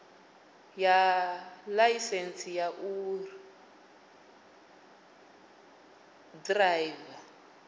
ya ḽaisentsi ya u ḓiraiva